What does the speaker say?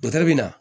Dɔtɛri bɛ na